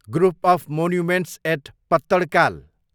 group of monuments at Pattadakal